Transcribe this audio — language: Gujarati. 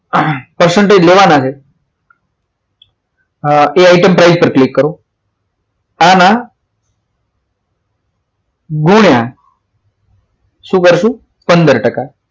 percentage લેવાના છે એ item price પર ક્લિક કરો આમાં ગુણ્યા શું કરશો પંદર ટકા